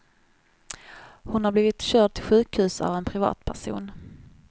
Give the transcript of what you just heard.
Hon har blivit körd till sjukhus av en privatperson.